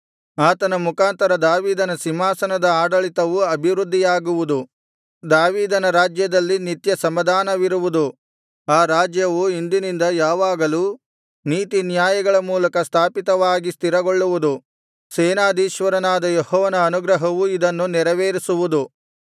ಆತನ ಮುಖಾಂತರ ದಾವೀದನ ಸಿಂಹಾಸನದ ಆಡಳಿತವು ಅಭಿವೃದ್ದಿಯಾಗುವುದು ದಾವೀದನ ರಾಜ್ಯದಲ್ಲಿ ನಿತ್ಯ ಸಮಾಧಾನವಿರುವುದು ಆ ರಾಜ್ಯವು ಇಂದಿನಿಂದ ಯಾವಾಗಲೂ ನೀತಿನ್ಯಾಯಗಳ ಮೂಲಕ ಸ್ಥಾಪಿತವಾಗಿ ಸ್ಥಿರಗೊಳ್ಳುವುದು ಸೇನಾಧೀಶ್ವರನಾದ ಯೆಹೋವನ ಅನುಗ್ರಹವು ಇದನ್ನು ನೆರವೇರಿಸುವುದು